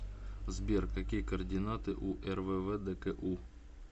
сбер какие координаты у рввдку